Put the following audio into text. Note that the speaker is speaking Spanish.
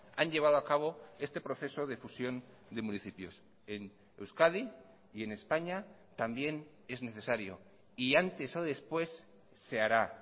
han llevado a cabo este proceso de fusión de municipios en euskadi y en españa también es necesario y antes o después se hará